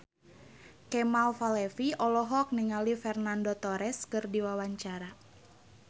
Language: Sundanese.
Kemal Palevi olohok ningali Fernando Torres keur diwawancara